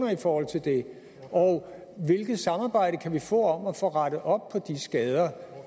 i forhold til det og hvilket samarbejde kan vi få om at få rettet op på de skader